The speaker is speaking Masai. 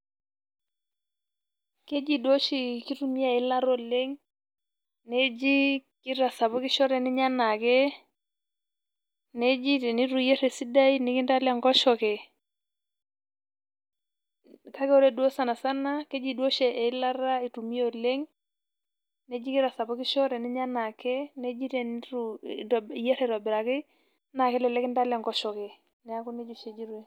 Keji duo oshi kitumia eilata oleng',neji kitasapukisho teninya enaake. Neji tenitu iyer esidai, nikintala enkoshoke. Kake ore duo sanasana, keji duo oshi eilata itumia oleng',neji kitasapukisho teninya enaake, neji tenitu iyier aitobiraki na kelelek kintala enkoshoke. Neeku nejia oshi ejitoi.